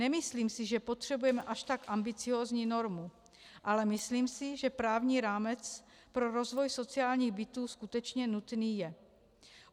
Nemyslím si, že potřebujeme až tak ambiciózní normu, ale myslím si, že právní rámec pro rozvoj sociálních bytů skutečně nutný je.